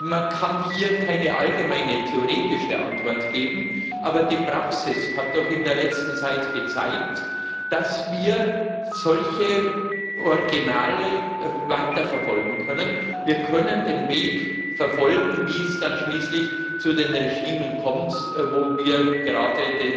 Man kann hier keine allgemeine theoretische Antwort geben, aber die Praxis hat in der letzten Zeit gezeigt, dass wir solche Originale weiterverfolgen können. Wir können den Weg verfolgen, wie es dann schließlich zu den Regimes kommt, wo wir gerade